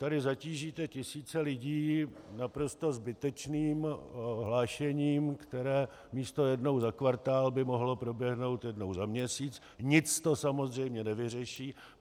Tady zatížíte tisíce lidí naprosto zbytečným hlášením, které místo jednou za kvartál by mohlo proběhnout jednou za měsíc, nic to samozřejmě nevyřeší.